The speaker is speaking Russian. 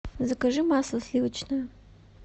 закажи масло сливочное